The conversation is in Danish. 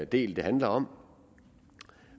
del det handler om